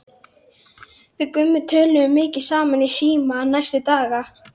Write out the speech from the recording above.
Við Gummi töluðum mikið saman í síma næstu daga.